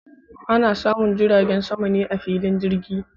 Ana samun jiragen sama ne a filin jirgi.